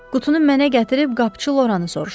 Qutunu mənə gətirib qapçı Loranı soruşun.